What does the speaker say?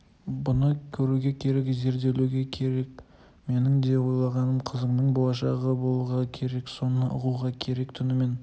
бұны көруге керек зерделеуге керек менің де ойлағаным қызыңның болашағы болуға керек соны ұғуға керек түнімен